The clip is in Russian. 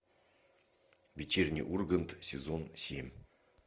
вечерний ургант сезон семь